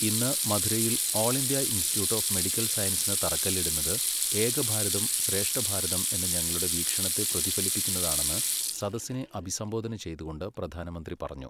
ഇന്ന് മധുരയിൽ all India institute of medical സയന്സിന് തറക്കല്ലിടുന്നത് ഏകഭാരതം ശ്രേഷ്ഠഭാരതം എന്ന ഞങ്ങളുടെ വീക്ഷണത്തെ പ്രതിഫലിപ്പിക്കുന്നതാണെന്ന് സദസിനെ അഭിസംബോധന ചെയ്തുകൊണ്ട് പ്രധാനമന്ത്രി പറഞ്ഞു.